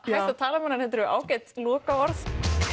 tala um hana þetta eru ágætis lokaorð